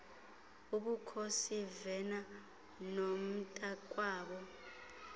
ubukhosi vena nomntakwabo